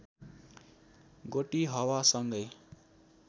गोटिहवा सँगै